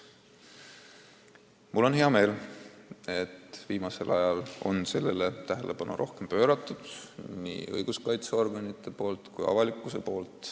Mul on hea meel, et viimasel ajal on sellele rohkem tähelepanu pööranud nii õiguskaitseorganid kui ka avalikkus.